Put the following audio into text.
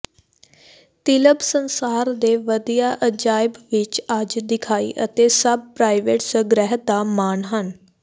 ਿਤਲਬ ਸੰਸਾਰ ਦੇ ਵਧੀਆ ਅਜਾਇਬ ਵਿੱਚ ਅੱਜ ਦਿਖਾਈ ਅਤੇ ਸਭ ਪ੍ਰਾਈਵੇਟ ਸੰਗ੍ਰਹਿ ਦਾ ਮਾਣ ਹਨ